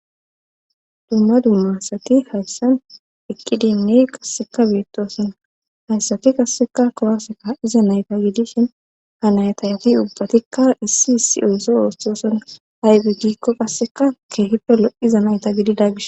dumma dumma asati hayssan eqqidinne qasseka beettoosona hayssati qasseka kuwaseka iza nayta gidishin ha naytayti ubbatikka issi issi ooso oosthoosoona aybe giikko qasseka keehippe lo7iza nayta gidida gish